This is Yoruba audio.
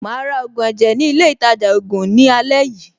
Màá ra ògùn ẹ̀jẹ̀ ní ilé-ìtajà-ògùn ní àlẹ́ yìí.